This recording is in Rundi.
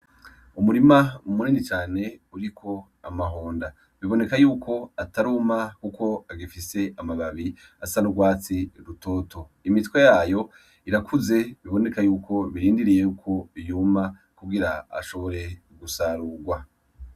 Umurima munini cane uriko amahonda, biboneka yuko ataruma kuko agifise amababi asa n'urwatsi rutoto, imitwe yayo irakuze biboneka yuko birindiriye yuko yuma kugira ashobore gusarurwa.